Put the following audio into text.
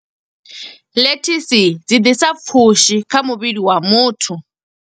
Lettuce dzi ḓisa pfushi kha muvhili wa muthu.